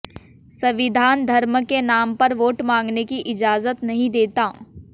संविधान धर्म के नाम पर वोट मांगने की इजाजत नहीं देता